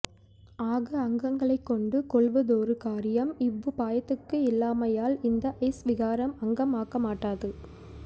ஆக அங்கங்களைக் கொண்டு கொள்வதொரு கார்யம் இவ்வுபாயத்துக்கு இல்லாமையால் இந்த ஸ் வீகாரம் அங்கம் ஆக்கமாட்டாது